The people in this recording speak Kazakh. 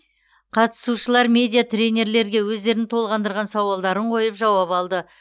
қатысушылар медиа тренерлерге өздерін толғандырған сауалдарын қойып жауап алды